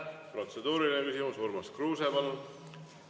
Protseduuriline küsimus, Urmas Kruuse, palun!